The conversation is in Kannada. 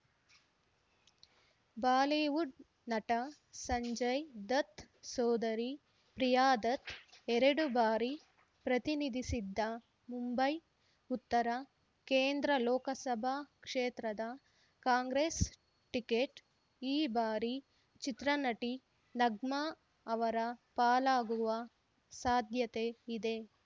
ಬಾಲಿವುಡ್‌ ನಟ ಸಂಜಯ್‌ ದತ್‌ ಸೋದರಿ ಪ್ರಿಯಾದತ್‌ ಎರಡು ಬಾರಿ ಪ್ರತಿನಿಧಿಸಿದ್ದ ಮುಂಬೈ ಉತ್ತರ ಕೇಂದ್ರ ಲೋಕಸಭಾ ಕ್ಷೇತ್ರದ ಕಾಂಗ್ರೆಸ್‌ ಟಿಕೆಟ್‌ ಈ ಬಾರಿ ಚಿತ್ರ ನಟಿ ನಗ್ಮಾ ಅವರ ಪಾಲಾಗುವ ಸಾಧ್ಯತೆ ಇದೆ